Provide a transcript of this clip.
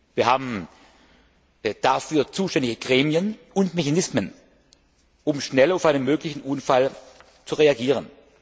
Wir haben dafür zuständige Gremien und Mechanismen, um schnell auf einen möglichen Unfall zu reagieren.